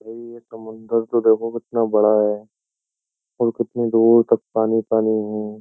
ये समंदर तो देखो कितना बड़ा है और कितनी दूर तक पानी-पानी है।